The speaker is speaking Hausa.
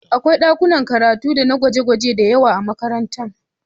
Akwai ɗakunan karatu dana gwaje-gwaje da yawa a makaranta